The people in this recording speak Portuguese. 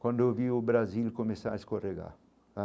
Quando eu vi o Brasil começar a escorregar.